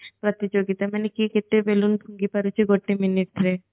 ପ୍ରତିଯୋଗୀତା ମାନେ କିଏ କେତେ balloon ଫୁଙ୍କି ପାରୁଛି ଗୋଟେ minute ରେ